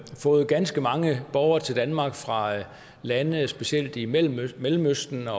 fået ganske mange borgere til danmark fra lande specielt i mellemøsten mellemøsten og